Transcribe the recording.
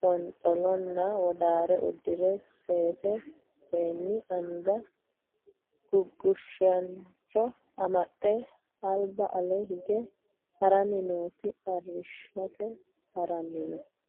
qonxolona wodaare udire sase seeni anga gugushaasincho amxxe alba ale hige harani nooti arishate harani no.